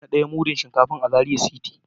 Na daya mudu Shinkafan a Zaria city.